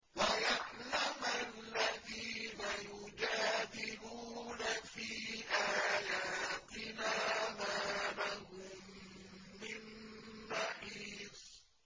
وَيَعْلَمَ الَّذِينَ يُجَادِلُونَ فِي آيَاتِنَا مَا لَهُم مِّن مَّحِيصٍ